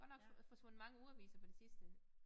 Godt nok forsvundet mange ugeaviser på det sidste